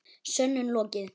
Sönnun lokið.